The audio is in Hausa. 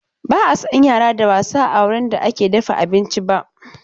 Ba a son yara da wasa a wurin da ake dafa abinci ba.